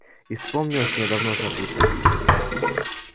и вспомнилось мне давно забытое